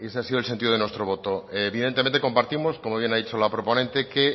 ha sido el sentido de nuestro voto evidentemente compartimos como bien ha dicho la proponente que